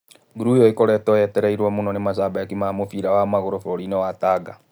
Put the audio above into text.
Ngũru ĩyo ĩkoretwo yetereirwo mũno nĩ macambĩki ma mũbira wa magũrũ bũrũri-inĩ wa Tanga.